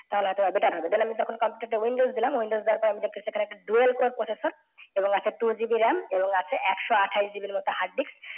তাহলে হয়তো ব্যাপারটা হবে। তালে আমি যখন computer টায় windows দিলাম, windows দেওয়ার পরে আমি দেখতেছি এখানে একটা dual score processor এবং একটা two GB ram এবং আছে একশো আঠাশ GB এর মতো hard disk